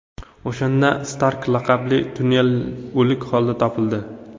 O‘shanda Stark laqabli tyulen o‘lik holda topildi.